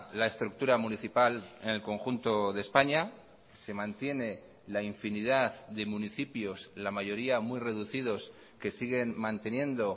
la estructura municipal en el conjunto de españa se mantiene la infinidad de municipios la mayoría muy reducidos que siguen manteniendo